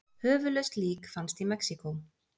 Höfuðlaust lík fannst í Mexíkó